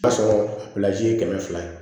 A sɔrɔ ye kɛmɛ fila ye